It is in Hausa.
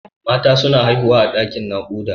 Mata suna haihuwa a ɗaƙin naƙuda.